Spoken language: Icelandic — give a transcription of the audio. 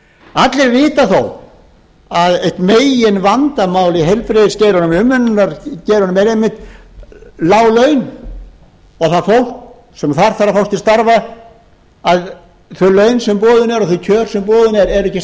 allir vita þó að eitt meginvandamál í heilbrigðisgeiranum eða umönnunargeiranum er einmitt lág laun og það fólk sem þar þarf að fást til starfa þau laun sem boðin eru og þau kjör sem boðin eru eru ekki